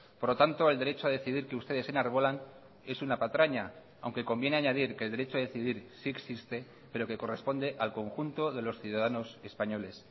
por lo tanto el derecho a decidir que ustedes enarbolan es una patraña aunque conviene añadir que el derecho a decidir sí existe pero que corresponde al conjunto de los ciudadanos españoles